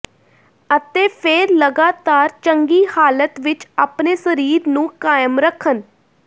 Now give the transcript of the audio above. ਅਤੇ ਫਿਰ ਲਗਾਤਾਰ ਚੰਗੀ ਹਾਲਤ ਵਿੱਚ ਆਪਣੇ ਸਰੀਰ ਨੂੰ ਕਾਇਮ ਰੱਖਣ